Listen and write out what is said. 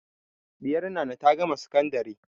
Ɗiyar Nana ta gama sakandari.